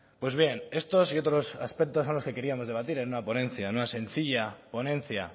pues bien estos y otros aspectos son los que queríamos debatir en una ponencia en una sencilla ponencia